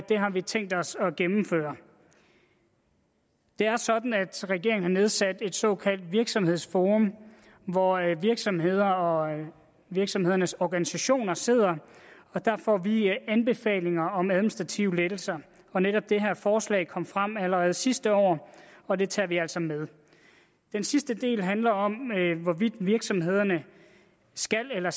har vi tænkt os at gennemføre det er sådan at regeringen har nedsat et såkaldt virksomhedsforum hvor virksomhederne og virksomhedernes organisationer sidder og der får vi anbefalinger om administrative lettelser netop det her forslag kom frem allerede sidste år og det tager vi altså med den sidste del handler om hvorvidt virksomhederne skal eller